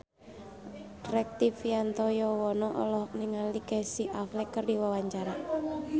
Rektivianto Yoewono olohok ningali Casey Affleck keur diwawancara